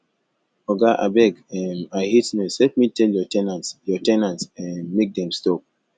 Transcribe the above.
oga abeg um i hate noise help me tell your ten ants your ten ants um make dem stop